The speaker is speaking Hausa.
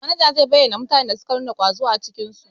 Manaja zai bayyana mutanen da suka nuna ƙwazo a aikin su.